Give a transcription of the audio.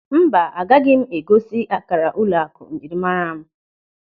Mba, agaghị m egosi akara ụlọakụ njirimara m.